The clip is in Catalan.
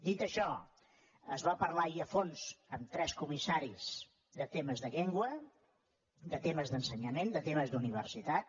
dit això es va parlar i a fons amb tres comissaris de temes de llengua de temes d’ensenyament de temes d’universitat